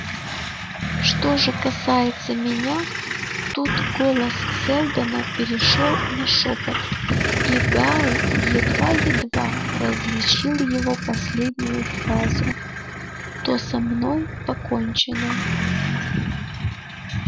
что же касается меня тут голос сэлдона перешёл на шёпот и гаал едва-едва различил его последнюю фразу то со мной покончено